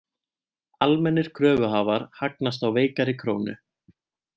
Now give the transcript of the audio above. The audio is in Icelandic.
Almennir kröfuhafar hagnast á veikari krónu